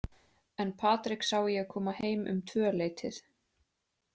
En Patrik sá ég koma heim um tvöleytið.